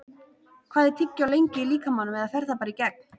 Hvað er tyggjó lengi í líkamanum eða fer það bara í gegn?